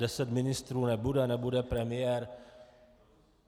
Deset ministrů nebude, nebude premiér.